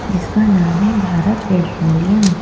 जिसका नाम है भारत पेट्रोलियम।